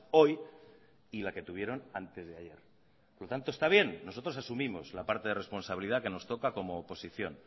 hoy y la que tuvieron antes de ayer por lo tanto esta bien nosotros asumimos la parte de responsabilidad que nos toca como oposición